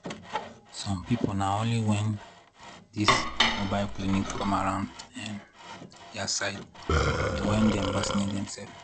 some people na only when all this mobile clinic come around ehnn their side na when dem vacinate dem self